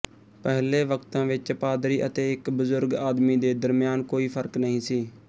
ਪਹਿਲੇ ਵਕਤਾਂ ਵਿੱਚ ਪਾਦਰੀ ਅਤੇ ਇੱਕ ਬਜ਼ੁਰਗ ਆਦਮੀ ਦੇ ਦਰਮਿਆਨ ਕੋਈ ਫ਼ਰਕ ਨਹੀਂ ਸੀ